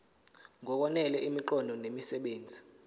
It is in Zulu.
ngokwanele imiqondo nemisebenzi